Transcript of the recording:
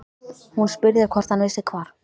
Hún spurði hvort hann vissi hvar